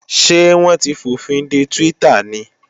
Ṣé wọ́n ti fòfinde Twitter ni?